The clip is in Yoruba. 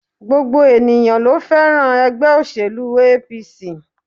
Gbogbo ènìyãn lo fẹ́ràn ègbé òṣèlú APC